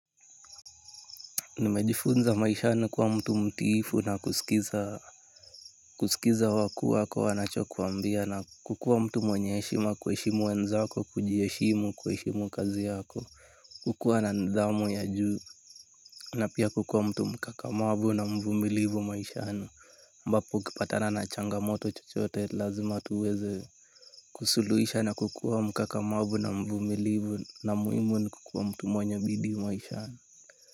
Nimejifunza maisha ni kuwa mtu mtiifu na kusikiza kusikiza wakuu wako wanacho kuambia na kukuwa mtu mwenye heshima kuheshimu wenzako kujiheshimu kuheshimu kazi yako. Kukuwa na nidhamu ya juu. Na pia kukuwa mtu mkakamavu na mvumilivu maishani ambapo ukipatana na changamoto chochote lazima tuweze kusuluhisha na kukuwa mkakamavu na mvumilivu na muhimu ni kukuwa mtu mwenye bidii maishani.